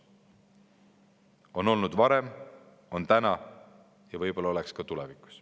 Nii on olnud varem, on praegu ja oleks võib-olla ka tulevikus.